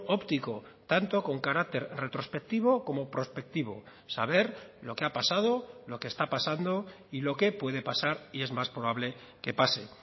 óptico tanto con carácter retrospectivo como prospectivo saber lo que ha pasado lo que está pasando y lo que puede pasar y es más probable que pase